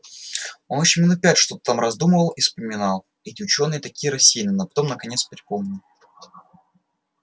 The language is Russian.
он ещё минут пять что-то там раздумывал и вспоминал эти учёные такие рассеянные но потом наконец припомнил